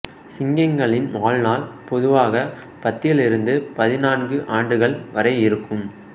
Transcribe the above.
சிங்கங்களின் வாழ்நாள் பொதுவாக பத்திலிருந்து பதிநான்கு ஆண்டுகள் வரை இருக்கும்